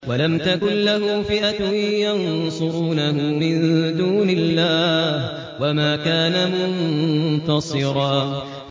وَلَمْ تَكُن لَّهُ فِئَةٌ يَنصُرُونَهُ مِن دُونِ اللَّهِ وَمَا كَانَ مُنتَصِرًا